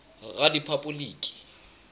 rephapoliki